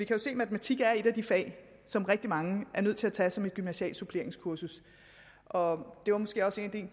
jo se at matematik er et af de fag som rigtig mange er nødt til at tage som gymnasialt suppleringskursus og det var måske også en